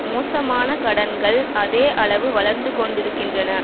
மோசமான கடன்கள் அதே அளவு வளர்ந்துகொண்டிருக்கின்றன